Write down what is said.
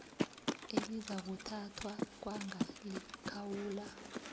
elizakuthathwa kwanga likhawula